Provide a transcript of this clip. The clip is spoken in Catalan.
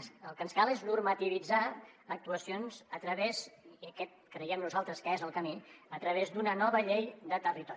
el que ens cal és normativitzar actuacions i aquest creiem nosaltres que és el camí a través d’una nova llei de territori